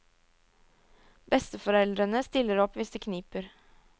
Besteforeldrene stiller opp hvis det kniper.